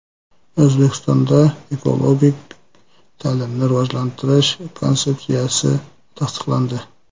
O‘zbekistonda Ekologik ta’limni rivojlantirish konsepsiyasi tasdiqlandi.